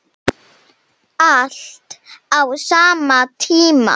Allt á sama tíma.